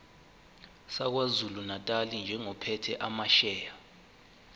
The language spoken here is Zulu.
sakwazulunatali njengophethe amasheya